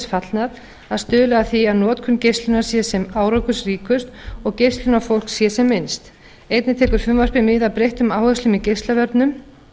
fallnar að stuðla að því að notkun geislunar sé sem árangursríkust og geislun á fólk sé sem minnst einnig tekur frumvarpið mið af breyttum áherslum í geislavörnum